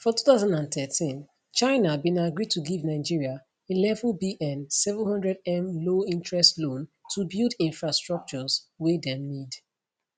for 2013 china bin agree to give nigeria 11bn 700m lowinterest loan to build infrastructures wey dem need